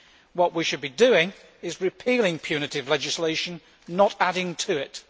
What we should be doing is repealing punitive legislation, not adding to it.